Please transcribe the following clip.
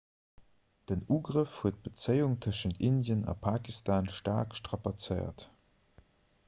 den ugrëff huet d'bezéiung tëschent indien a pakistan staark strapazéiert